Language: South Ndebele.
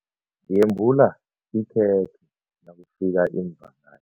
Yembula ikhekhe nakufika iimvakatjhi.